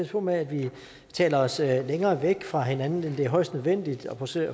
på med at vi taler os længere væk fra hinanden end det er højst nødvendigt og passe